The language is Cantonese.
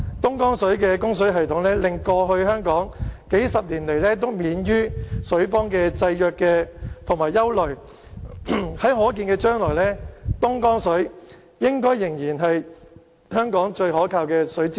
東江供水系統令香港過去數十年來都免於水荒的制約和憂慮，在可見的將來，東江水應該仍是香港最可靠的水資源。